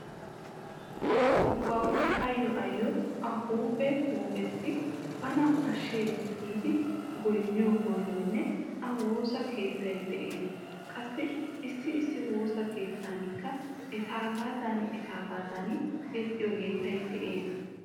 Asa ubbawu ayyo ayyo A huuphe huuphessi bana ashshees giidi goynniyo goynoynne A woossa keettay de'ees. Qassi issi issi woosa keettankka etaagaadan etaagaadan yexxiyo yettayi de'ees.